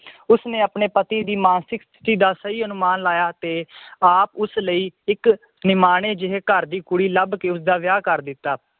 ਉਸਨੇ ਆਪਣੇ ਪਤੀ ਦੀ ਮਾਨਸਿਕ ਸਥਿਤੀ ਦਾ ਸਹੀ ਅਨੁਮਾਨ ਲਾਇਆ ਅਤੇ ਆਪ ਉਸ ਲਈ ਇੱਕ ਨਿਮਾਣੇ ਜਿਹੇ ਘਰ ਦੀ ਕੁੜੀ ਲੱਭ ਕੇ ਉਸਦਾ ਵਿਆਹ ਕਰ ਦਿੱਤਾ